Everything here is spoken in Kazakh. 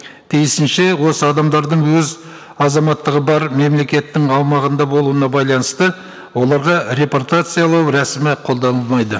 тиісінше осы адамдардың өз азаматтығы бар мемлекеттің аумағында болуына байланысты оларға репортациялау рәсімі қолданылмайды